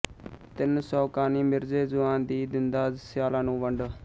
ਤਿੰਨ ਸੌ ਕਾਨੀ ਮਿਰਜ਼ੇ ਜੁਆਨ ਦੀ ਦਿੰਦਾ ਸਿਆਲਾਂ ਨੂੰ ਵੰਡ